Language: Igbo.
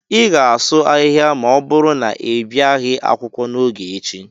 ị ga-asụ ahịhịa ma ọ bụrụ na ị bịaghị akwụkwọ n'oge echi